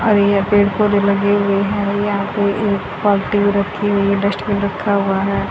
और यह पेड़ पौधे लगे हुए हैं और यहां पे एक बाल्टी भी रखी हुई है डस्टबिन रखा हुआ है।